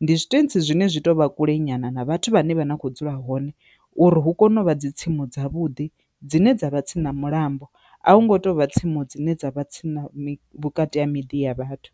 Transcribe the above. ndi zwitentsi zwine zwi to vha kule nyana na vhathu vhane vha na kho dzula hone uri hu kone uvha dzi tsimu dza vhuḓi dzine dza vha tsini na mulambo, a hu ngo to vha tsimu dzine dza vha tsini vhukati ha miḓi ya vhathu.